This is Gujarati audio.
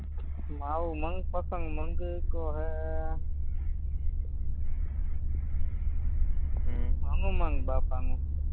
મારું મનપસંદ મંદિરતો હેહેઅ હમ હનુમાનબાપાનું